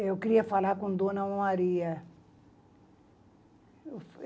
Eu queria falar com dona Maria.